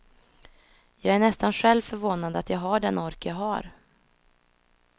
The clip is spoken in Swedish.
Jag är nästan själv förvånad att jag har den ork jag har.